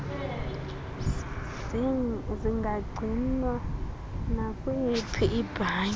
zingagcinwa nakwiyiphi ibhanki